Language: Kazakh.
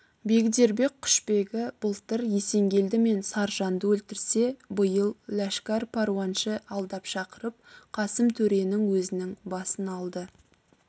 бегдербек құшбегі былтыр есенгелді мен саржанды өлтірсе биыл ләшкәр паруаншы алдап шақырып қасым төренің өзінің басын алды